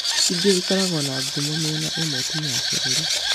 Ingĩ ikoragwo na ngumo mĩena ĩmwe tu ya bũrũri